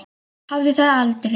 Hafði það aldrei.